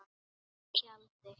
Í tjaldi.